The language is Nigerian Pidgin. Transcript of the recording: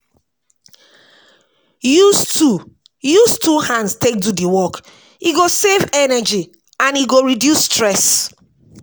Use two Use two hands take do the work, e go save energy and e go reduce stress